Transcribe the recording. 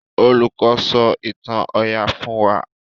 Olùkó sọ ìtàn oyà fún wá.